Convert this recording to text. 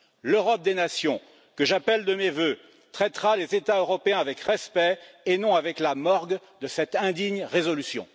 L'Europe des nations, que j'appelle de mes vœux, traitera les États européens avec respect et non avec la morgue de cette indigne résolution.